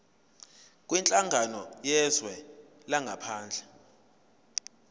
kwinhlangano yezwe langaphandle